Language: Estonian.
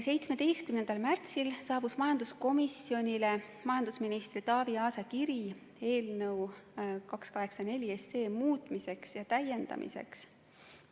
17. märtsil saabus majanduskomisjonile majandusminister Taavi Aasa kiri eelnõu 284 muutmiseks ja täiendamiseks.